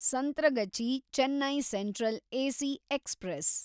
Santragachi Chennai central AC express